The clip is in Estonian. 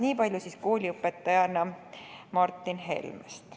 Nii palju siis kooliõpetajana Martin Helmest.